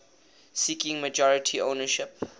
seeking majority ownership